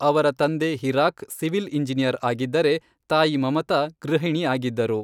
ಅವರ ತಂದೆ Hirak civil engineer ಆಗಿದ್ದರೆ, ತಾಯಿ ಮಮತಾ ಗೃಹಿಣಿ ಆಗಿದ್ದರು.